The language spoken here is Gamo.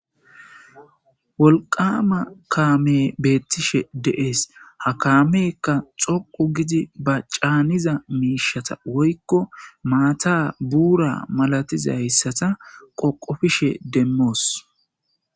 wolqama kaame beettishe deees ha kaamekka xoqu gidi ba caaniza miishata woykko maata buura malatizayssata qoqofishe demmoos